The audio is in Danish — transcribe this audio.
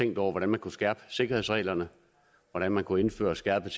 tænkt over hvordan man kunne skærpe sikkerhedsreglerne hvordan man kunne indføre et skærpet